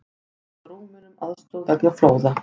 Bjóða Rúmenum aðstoð vegna flóða